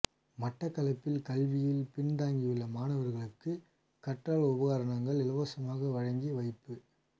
மட்டக்களப்பில் கல்வியில் பின்தங்கியுள்ள மாணவர்களுக்கு கற்றல் உபகரணங்கள் இலவசமாக வழங்கி வைப்பு